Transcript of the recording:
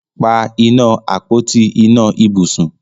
pá iná Àpótí iná ibùsùn